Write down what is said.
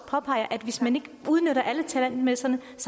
påpeger at hvis man ikke udnytter alle talentmasserne